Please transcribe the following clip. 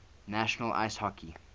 national ice hockey